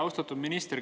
Austatud minister!